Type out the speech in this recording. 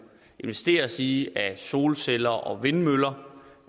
investeres i af solceller og vindmøller